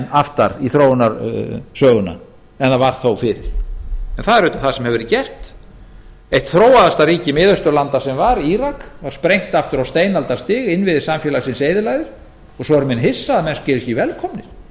aftar í þróunarsöguna en það var þó fyrir það er einmitt það sem hefur verið gert eitt þróaðasta ríki miðausturlanda sem var írak var sprengt aftur á steinaldarstig innviðir samfélagsins eyðilagðir og svo eru menn hissa á að menn séu ekki velkomnir